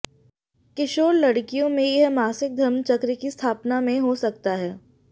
किशोर लड़कियों में यह मासिक धर्म चक्र की स्थापना में हो सकता है